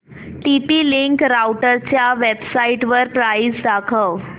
TP link राउटरच्या वेबसाइटवर price दाखव